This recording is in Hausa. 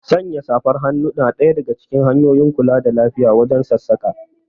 Sanya safar hannu na daga hanyoyin kula da lafiya wajen sassaƙa